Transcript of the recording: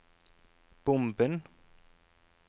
bomben